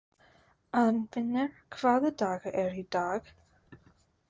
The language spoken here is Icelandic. Arnfinnur, hvaða dagur er í dag?